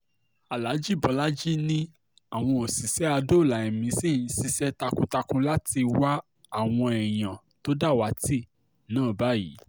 aláàjì bológì ni àwọn òṣìṣẹ́ àdọ́ọlá ẹ̀mí ṣì ń ṣiṣẹ́ takuntakun láti wá àwọn èèyàn tó dàwátì náà báyìí